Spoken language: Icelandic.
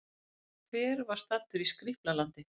Hver var staddur í Skrýpla-landi?